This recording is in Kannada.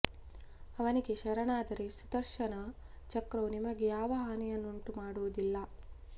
ಅವನಿಗೆ ಶರಣಾದರೆ ಸುದರ್ಶನ ಚಕ್ರವು ನಿಮಗೆ ಯಾವ ಹಾನಿಯನ್ನೂ ಉಂಟು ಮಾಡುವುದಿಲ್ಲ